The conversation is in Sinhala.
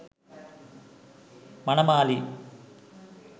manamali